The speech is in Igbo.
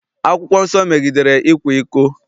Akwụkwọ nsọ megidere ịkwa iko.